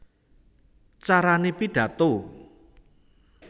Carané Pidhato